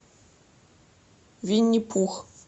винни пух